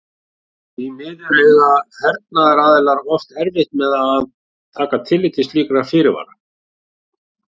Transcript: Því miður eiga hernaðaraðilar oft erfitt með að taka tillit til slíkra fyrirvara.